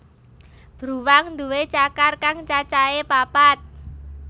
Bruwang nduwé cakar kang cacahé papat